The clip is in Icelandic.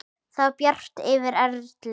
Það var bjart yfir Erlu.